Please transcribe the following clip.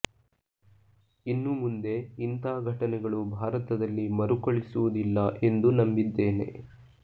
ಇನ್ನು ಮುಂದೆ ಇಂಥ ಘಟನೆಗಳು ಭಾರತದಲ್ಲಿ ಮರುಕಳಿಸುವುದಿಲ್ಲ ಎಂದು ನಂಬಿದ್ದೇನೆ